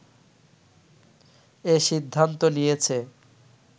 এ সিদ্ধান্ত নিয়েছে